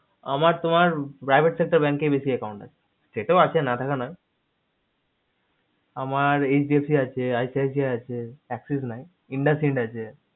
আমার তোমার private sector bank এই বেশি account আছে সেতেও আছে নাথাকা নয় আমার hdfc আছে ICICI আছে axis নাই indusind আছে